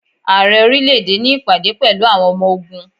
Ààrẹ orílẹ̀ èdè ní ìpàdé pẹ̀lú àwọn ọmọ ogún.